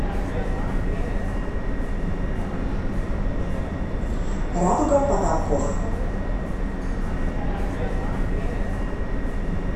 радуга потолков